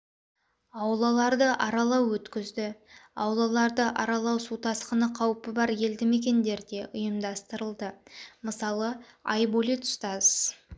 аулаларды аралау өткізді аулаларды аралау су тасқыны қаупі бар елді мекендерде ұйымдастырылды мысалы айболит устаз